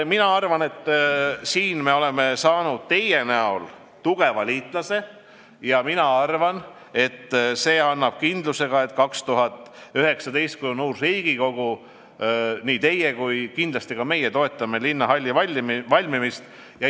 Mina arvan, et me oleme saanud teie näol tugeva liitlase ja see annab ka kindluse, et 2019, kui on uus Riigikogu, siis toetate nii teie kui kindlasti toetame ka meie linnahalli valmimist.